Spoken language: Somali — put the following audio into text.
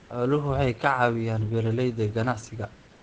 Xooluhu waxay ka caawiyaan beeralayda ganacsiga.